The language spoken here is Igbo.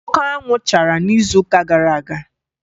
Oke anwụ chara n'izuụka gara aga